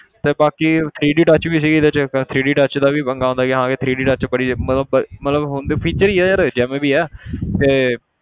ਤੇ ਬਾਕੀ three D touch ਵੀ ਸੀਗੀ ਇਹਦੇ 'ਚ three D touch ਦਾ ਵੀ ਪੰਗਾ ਹੁੰਦਾ ਕਿ ਹਾਂ ਕਿ three D touch ਬੜੀ ਮਤਲਬ ਮਤਲਬ ਹੁੰਦਾ feature ਹੀ ਹੈ ਯਾਰ ਜਿਵੇਂ ਵੀ ਹੈ ਤੇ